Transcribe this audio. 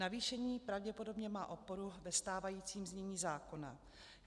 Navýšení pravděpodobně má oporu ve stávajícím znění zákona.